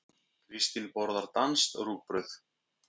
Kristín borðar danskt rúgbrauð.